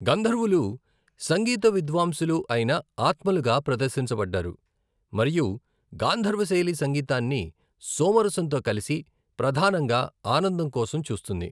గంధర్వులు సంగీత విద్వాంసులు అయిన ఆత్మలుగా ప్రదర్శించబడ్డారు, మరియు గాంధర్వ శైలి సంగీతాన్ని సోమ రసంతో కలిసి, ప్రధానంగా ఆనందం కోసం చూస్తుంది.